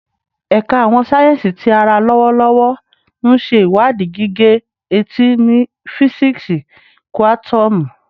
Ẹka Awọn sáyẹnsì Ti ara lọwọlọwọ nṣe iwadii gige-eti ni fisiksi kuatomu